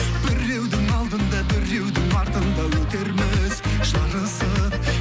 біреудің алдында біреудің артында өтерміз жарысып